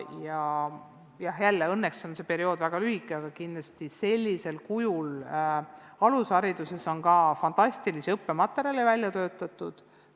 Aga jälle, õnneks on see periood olnud väga lühike ja ka alushariduse jaoks on fantastilisi digiõppematerjale välja töötatud.